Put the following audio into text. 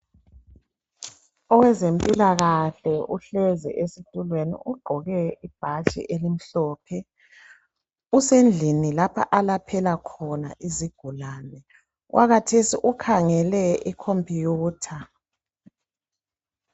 Owezempilakahle uhlezi esitulweni ugqoke ibhatshi elimhlophe, usendlini lapho alaphela khona izigulane, okwakhathesi ukhangele i computer.